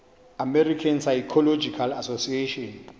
american psychological association